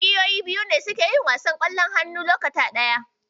Ƙungiyoyi biyu ne suke yin wasan Ƙwallon hannu lokaci guda.